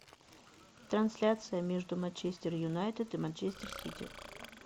трансляция между манчестер юнайтед и манчестер сити